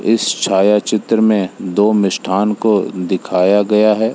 इस छायाचित्र में दो मिष्ठान को दिखाया गया है।